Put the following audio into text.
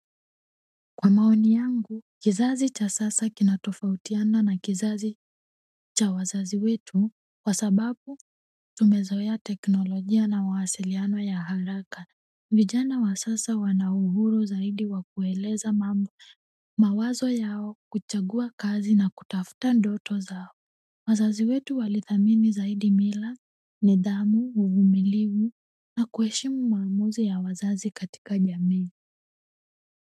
Kwa maoni yangu kizazi cha sasa kinatofautiana na kizazi cha wazazi wetu kwa sababu wamezoea teknolojia na mawasiliano ya haraka vijana wa sasa wana uhuru zaidi wa kueleza mawazo yao kuchagua kazi na kutafuta ndoto zao wazazi wetu walithamini zaidi mila nidhamu uvumilivu na kuheshimu maamuzi yawazazi katika jamii.